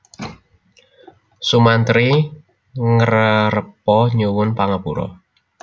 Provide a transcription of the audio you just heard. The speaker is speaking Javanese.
Sumantri ngrerepa nyuwun pangapura